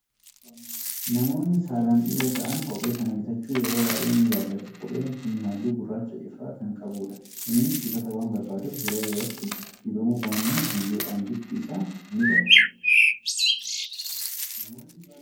Namoonni saalaan dhiira ta'an kophee kana bitachuu yeroo baay'ee ni jaallatu. Kopheen kun halluu gurraachaa ifaa kan qabudha. Innis dibata waan barbaaduuf, yeroo yerootti dibamuu baannaan biyyoodhaan bifti isaa ni bada.